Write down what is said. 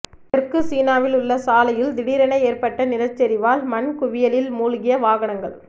தெற்குசீனாவில் உள்ள சாலையில் திடீரென ஏற்பட்ட நிலச்சரிவால் மண்குவியலில் மூழ்கிய வாகனங்கள்